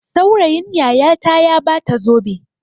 Saurayin yayata ya ba ta zobe.